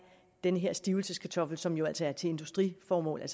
den her stivelseskartoffel som jo altså er til industriformål